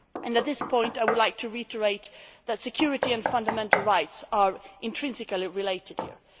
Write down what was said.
this. At this point I would like to reiterate that security and fundamental rights are intrinsically related